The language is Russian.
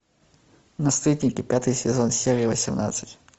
наследники пятый сезон серия восемнадцать